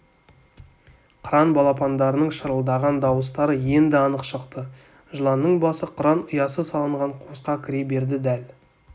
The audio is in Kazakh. қыран балапандарының шырылдаған дауыстары енді анық шықты жыланның басы қыран ұясы салынған қуысқа кіре берді дәл